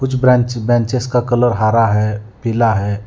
कुछ ब्रांचेस का कलर हरा है पीला है।